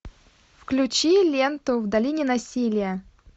включи ленту в долине насилия